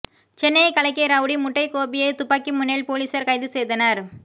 சென்னையை கலக்கிய ரவுடி முட்டை கோபியை துப்பாக்கி முனையில் போலீசார் கைது செய்தனர்